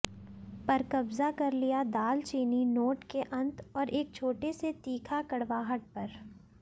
पर कब्जा कर लिया दालचीनी नोट के अंत और एक छोटे से तीखा कड़वाहट पर